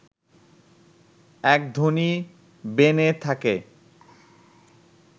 এক ধনী বেনে থাকে